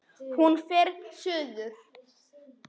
Hún fer suður.